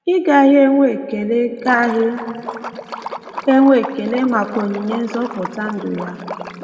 Ị gaghị enwe ekele gaghị enwe ekele maka onyinye nzọpụta ndụ ya?